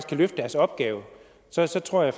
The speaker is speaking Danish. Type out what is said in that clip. kan løfte deres opgave så så tror jeg